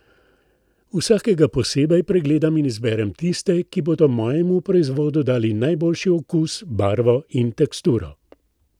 Vsakega posebej pregledam in izberem tiste, ki bodo mojemu proizvodu dali najboljši okus, barvo in teksturo.